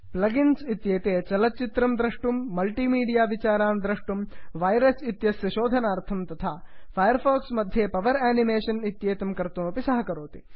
plugins इत्येते चलच्चित्रं द्रष्टुं मल्टि मीडिया विचारान् द्रष्टुं वैरस् इत्यस्य शोधनार्थं तथा फैर् फाक्स् मध्ये पवर् आनिमेषन् इत्येतं कर्तुमपि सहकरोति